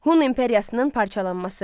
Hun İmperiyasının parçalanması.